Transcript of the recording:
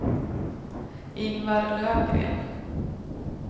Ingvar Löfgren